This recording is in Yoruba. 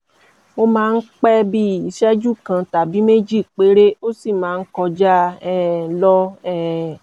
ó máa ń pẹ́ bíi ìṣẹ́jú kan tàbí méjì péré ó sì máa ń kọjá um lọ um